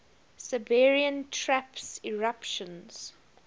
siberian traps eruptions